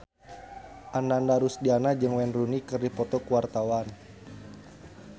Ananda Rusdiana jeung Wayne Rooney keur dipoto ku wartawan